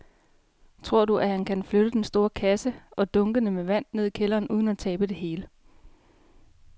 Tror du, at han kan flytte den store kasse og dunkene med vand ned i kælderen uden at tabe det hele?